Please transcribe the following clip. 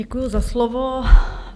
Děkuji za slovo.